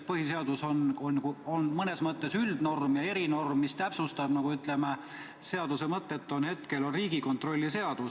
Põhiseadus on mõnes mõttes üldnorm, erinorm, mis täpsustab asjaomast korda, on Riigikontrolli seadus.